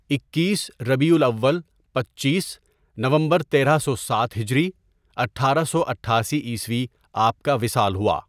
اکیس ؍ربیع الاول پنچیس ؍نومبر تیرہ سو سات ہجری ؍ اٹھارہ سو اٹھاسی عیسوی آپ کا وصال ہوا.